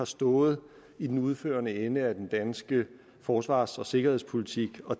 stået i den udførende ende af den danske forsvars og sikkerhedspolitik og